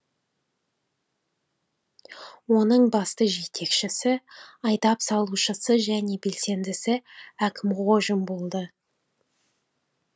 оның басты жетекшісі айдап салушысы және белсендісі әкімғожин болды